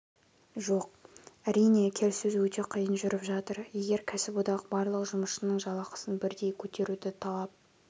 жоқ әрине келіссөз өте қиын жүріп жатыр егер кәсіподақ барлық жұмысшының жалақысын бірдей көтеруді талап